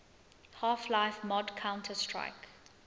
half life mod counter strike